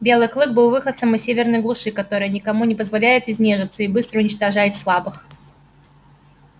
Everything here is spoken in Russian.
белый клык был выходцем из северной глуши которая никому не позволяет изнежиться и быстро уничтожает слабых